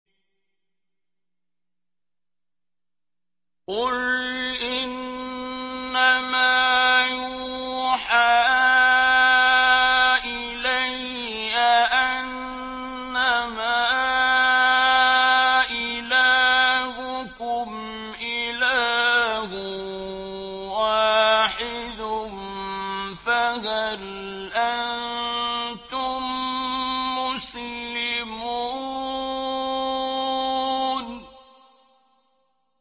قُلْ إِنَّمَا يُوحَىٰ إِلَيَّ أَنَّمَا إِلَٰهُكُمْ إِلَٰهٌ وَاحِدٌ ۖ فَهَلْ أَنتُم مُّسْلِمُونَ